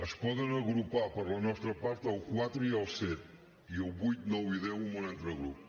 es poden agrupar per la nostra part el quatre i el set i el vuit nou i deu en un altre grup